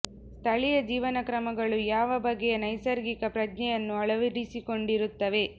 ಸ್ಥಳೀಯ ಜೀವನ ಕ್ರಮಗಳು ಯಾವ ಬಗೆಯ ನೈಸರ್ಗಿಕ ಪ್ರಜ್ಞೆಯನ್ನು ಅಳವಡಿಸಿಕೊಂಡಿ ರುತ್ತವೆ